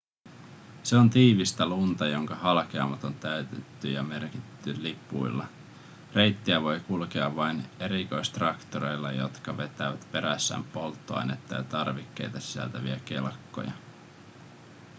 se on tiivistä lunta jonka halkeamat on täytetty ja merkitty lipuilla reittiä voi kulkea vain erikoistraktoreilla jotka vetävät perässään polttoainetta ja tarvikkeita sisältäviä kelkkoja